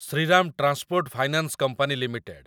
Shriram transport finance company limited